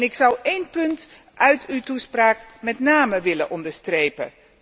Ik zou één punt uit uw toespraak met name willen onderstrepen.